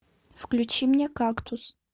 включи мне кактус